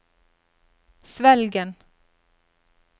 Svelgen